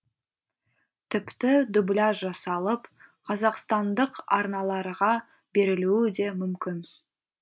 тіпті дубляж жасалып қазақстандық арналарға берілуі де мүмкін